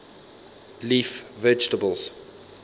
leaf vegetables